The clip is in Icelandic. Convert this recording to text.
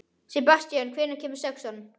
Sebastían, hvenær kemur sexan?